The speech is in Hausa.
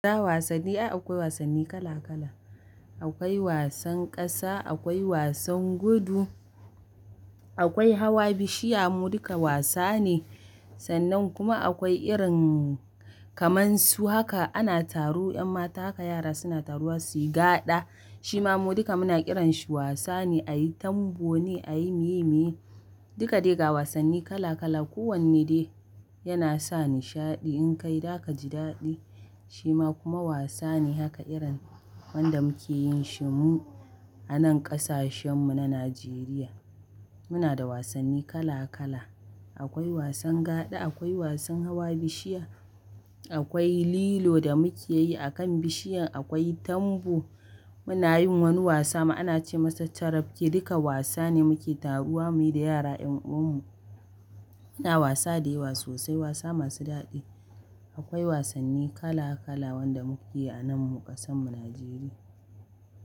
Da wasanni, ai akwai wasanni kala kala. Akwai wasan ƙasa, akwai wasan gudu, akwai hawa bishiya mu duka wasa ne. Sannan kuma akwai irin kaman su haka ana taru 'yan mata haka yara suna taruwa su yi gaɗa. Shi ma mu duka muna kiranshi wasa ne, a yi tambo ne, a yi miye miye. Duka dai ga wasanni kala kala. Ko wanne de yana sa nishadi in kai daka ji daɗi. Shi ma kuma wasa ne haka irin wanda muke yin shi mu a nan ƙasashen mu na Najeriya. Muna da wasanni kala kala. Akwai wasan gada, akwai wasan hawa bishiya, akwai lilo da muke yi a kan bishiya, akwai tambo. Muna yin wani wasa mu ana ce masa carabke, duka wasa ne muke taruwa muyi da yara 'yan uwan mu. Muna wasa da yawa sosai wasa masu daɗi. Akwai wasanni kala kala wanda muke yi a nan mu ƙasan mu Najeriya.